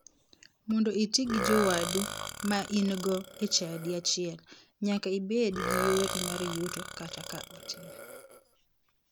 Mondo iti gi jowadu ma ingo e chadi achiel, nyaka ibed gi yori mar yuto kata ka otin.